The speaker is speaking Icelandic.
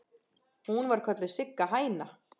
Hún var kölluð Sigga hæna.